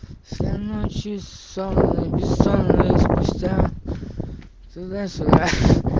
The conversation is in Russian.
сэр на часах без ссор и спустя туда сюда